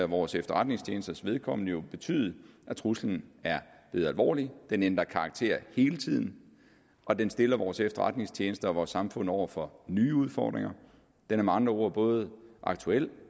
vores efterretningstjenesters vedkommende betydet at truslen er blevet alvorlig den ændrer karakter hele tiden og den stiller vores efterretningstjenester og vores samfund over for nye udfordringer den er med andre ord både aktuel